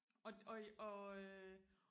og og og øh